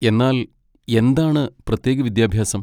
എന്നാൽ, എന്താണ് പ്രത്യേക വിദ്യാഭ്യാസം?